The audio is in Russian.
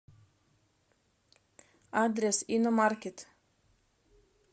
адрес иномаркет